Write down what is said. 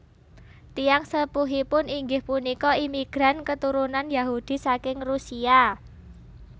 Tiyang sepuhipun inggih punika imigran keturunan Yahudi saking Rusia